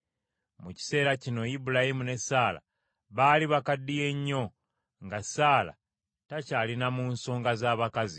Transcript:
Mu kiseera kino Ibulayimu ne Saala baali bakaddiye nnyo nga Saala takyali na mu nsonga z’abakazi.